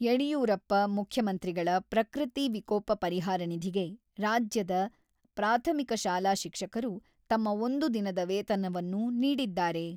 ಯಡಿಯೂರಪ್ಪ ಮುಖ್ಯಮಂತ್ರಿಗಳ ಪ್ರಕೃತಿ ವಿಕೋಪ ಪರಿಹಾರ ನಿಧಿಗೆ ರಾಜ್ಯದ ಪ್ರಾಥಮಿಕ ಶಾಲಾ ಶಿಕ್ಷಕರು ತಮ್ಮ ಒಂದು ದಿನದ ವೇತನವನ್ನು ನೀಡಿದ್ದಾರೆ.